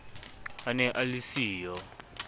a ne a le siyo